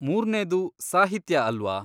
ಮೂರ್ನೇದು ಸಾಹಿತ್ಯ ಅಲ್ವಾ?